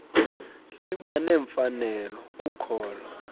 liba nemfanelo kukholo